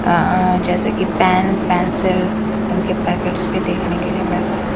अ जैसे कि pen pencil इनके पैकेट्स भी देखने के लिए मिल रहे हैं।